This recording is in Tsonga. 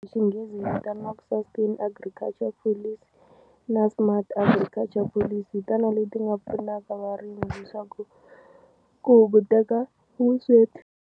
Hi xinghezi vitaniwaka Sustain Agriculture Policy na Smart Agriculture Police hi tona leti nga pfunaka varimi leswaku ku hunguteka vusweti.